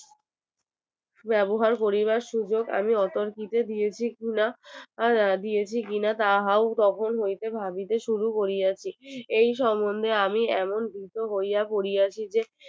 ব্যবহার করিবার সুযোগ আমি অতর্কিতে দিয়েছি কিনা আহ দিয়েছি কিনা তাহার তখন হইতে ভাবিতে সিঁড়ি করিলাম এই সম্মন্ধে আমি এমন দুঃখ্যে পড়িয়াছি যে